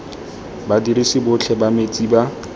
badirisi botlhe ba metsi ba